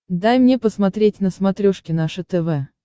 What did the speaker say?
дай мне посмотреть на смотрешке наше тв